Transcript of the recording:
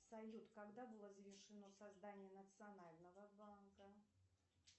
салют когда было завершено создание национального банка